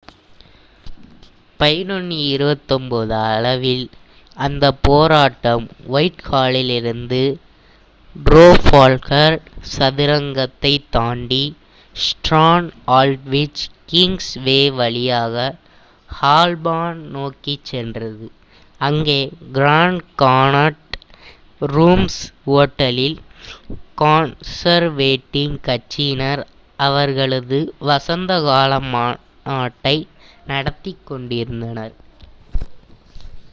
11:29 அளவில் அந்த போராட்டம் ஒயிட்ஹாலிலிருந்து ட்ரஃபால்கர் சதுக்கத்தைத் தாண்டி ஸ்ட்ரான்ட் ஆல்ட்விச் கிங்ஸ் வே வழியாக ஹால்பார்ன் நோக்கிச் சென்றது அங்கே கிராண்ட் கன்னாட் ரூம்ஸ் ஓட்டலில் கன்சர்வேட்டிவ் கட்சியினர் அவர்களது வசந்த கால மாநாட்டை நடத்திக் கொண்டிருந்தனர்